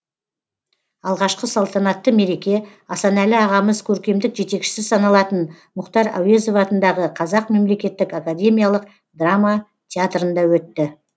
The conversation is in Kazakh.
алғашқы салтанатты мереке асанәлі ағамыз көркемдік жетекшісі саналатын мұхтар әуезов атындағы қазақ мемлекеттік академиялық драма театрында өтті